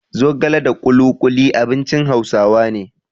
Zogala da ƙuluƙuli abincin Hausawa ne.